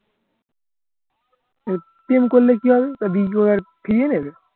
প্রেম করলে কি আর তা video আর ফিরিয়ে দেয়